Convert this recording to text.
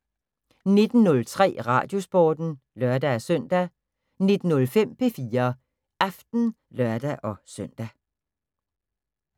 19:03: Radiosporten (lør-søn) 19:05: P4 Aften (lør-søn)